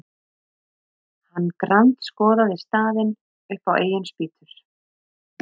Hann grandskoðaði staðinn upp á eigin spýtur.